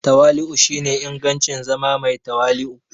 Tawali'u shine ingancin zama mai tawali'u.